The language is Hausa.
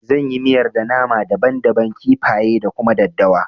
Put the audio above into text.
Zan yi miyar da nama daban daban, kifaye da kuma daddawa